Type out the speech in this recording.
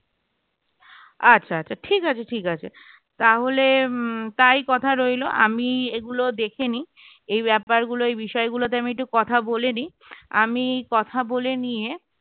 আচ্ছা আচ্ছা ঠিক আছে ঠিক আছে তাহলে উম তাই কথা রইল আমি এগুলো দেখেনি এই ব্যাপারগুলো এই বিষয়গুলোতে আমি একটু কথা বলে নি আমি কথা বলে নিয়ে